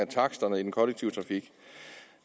taksterne i den kollektive trafik